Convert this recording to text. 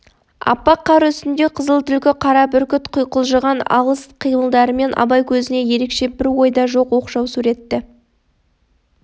аппақ қар үстінде қызыл түлкі қара бүркіт құйқылжыған алыс қимылдарымен абай көзіне ерекше бір ойда жоқ оқшау суретті